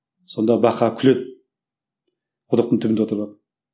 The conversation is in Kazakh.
сонда бақа күледі құдықтың түбінде отырып алып